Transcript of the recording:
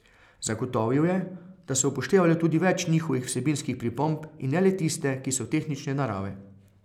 Zagotovil je, da so upoštevali tudi več njihovih vsebinskih pripomb in ne le tiste, ki so tehnične narave.